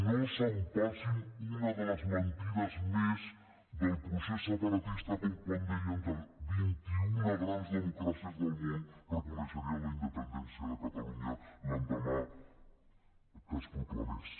no s’empassin una de les mentides més del procés separatista com quan deien que vint i una grans democràcies del món reconeixerien la independència de catalunya l’endemà que es proclamés